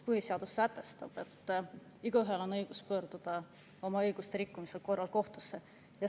Põhiseadus sätestab, et igaühel on õigus pöörduda oma õiguste rikkumise korral kohtusse.